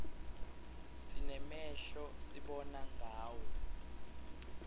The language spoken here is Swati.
sinemehlo sibona ngawo